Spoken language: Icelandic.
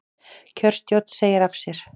Kjörstjórn segir af sér